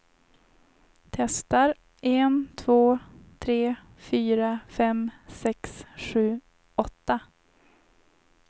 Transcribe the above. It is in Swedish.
Testar en två tre fyra fem sex sju åtta.